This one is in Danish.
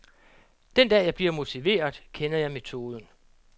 Den dag, jeg bliver motiveret, kender jeg metoden.